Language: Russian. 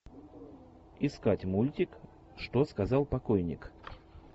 искать мультик что сказал покойник